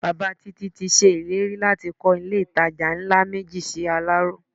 Bàbá Títí ti ṣèlérí láti kọ́ ilé-ìtajà ńlá méjì sí Aláró